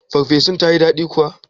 Ferfesun tayi daɗi kuwa?